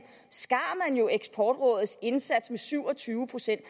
skar eksportrådets indsats med syv og tyve procent